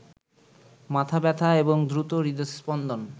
মাথা ব্যথা এবং দ্রুত হৃদস্পন্দন